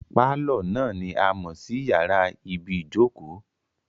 Pálọ̀ náà ni a mọ̀ sí yàrá ibìí jókòó